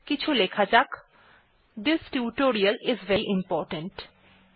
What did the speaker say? কিছু লেখা যাক this tutorial is very important